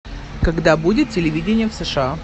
когда будет телевидение в сша